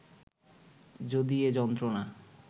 যদি এ যন্ত্রণা